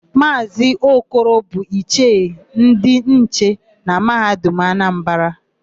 Maazị Okoro bụ Ichie ndị nche na Mahadum Anambara.